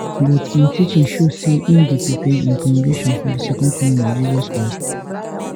but im teaching show say im dey prepare im congregation for di second coming of jesus christ